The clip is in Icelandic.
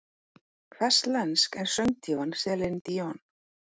Hvers lensk er söngdívan Celine Dion?